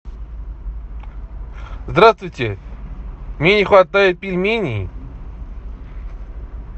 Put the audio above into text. здравствуйте мне не хватает пельменей